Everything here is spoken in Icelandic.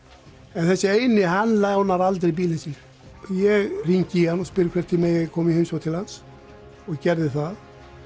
en þessi eini hann lánar aldrei bílinn sinn ég hringi í hann og spyr hvort ég megi koma í heimsókn til hans og gerði það